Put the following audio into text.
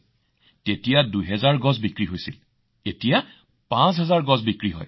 পূৰ্বে ২০০০ টকাত একোডাল গছ বিক্ৰী হৈছিল এতিয়া একেডাল গছৰ দাম ৫০০০ হৈছে